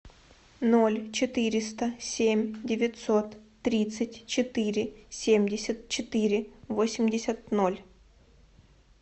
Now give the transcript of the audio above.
ноль четыреста семь девятьсот тридцать четыре семьдесят четыре восемьдесят ноль